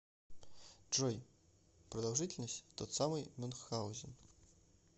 джой продолжительность тот самый мюнхгаузен